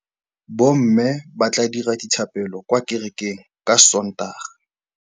Bommê ba tla dira dithapêlô kwa kerekeng ka Sontaga.